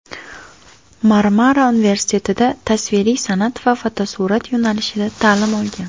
Marmara universitetida tasviriy san’at va fotosurat yo‘nalishida ta’lim olgan.